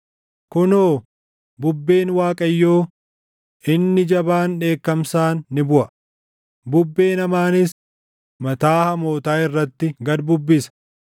Kunoo, bubbeen Waaqayyoo, inni jabaan dheekkamsaan ni buʼa; bubbeen hamaanis mataa hamootaa irratti gad bubbisa.